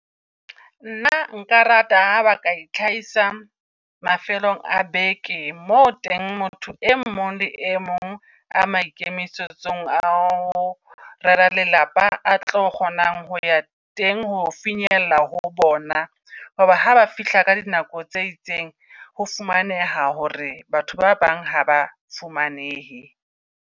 Nna nka rata ba ka itlhahisa mafelong a beke. Mo teng motho e mong le e mong a maikemisetsong a o rera lelapa a tlo kgonang ho ya teng. Ho finyella ho bona. Hoba haba fihla ka di nako tse itseng, ho fumaneha hore batho ba bang ha ba fumanehe.